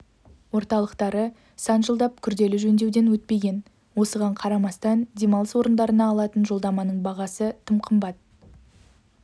орталықтары сан жылдап күрделі жөндеуден өтпеген осыған қарамастан демалыс орындарына алатын жолдаманың бағасы тым қымбат